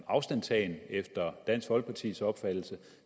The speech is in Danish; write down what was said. afstandstagen efter dansk folkepartis opfattelse